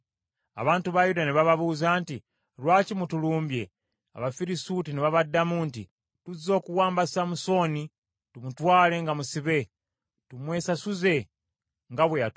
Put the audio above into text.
Abantu ba Yuda ne bababuuza nti, “Lwaki mutulumbye?” Abafirisuuti ne babaddamu nti, “Tuzze okuwamba Samusooni tumutwale nga musibe, tumwesasuze nga bwe yatukola.”